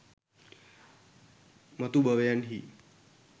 මතු භවයන්හි